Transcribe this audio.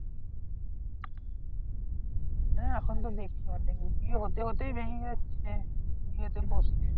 হ্যাঁ এখন ভেঙ্গে মানে মানে বিয়ে হতে হতেই ভেঙ্গে যাচ্ছে বিয়েতে বসতে।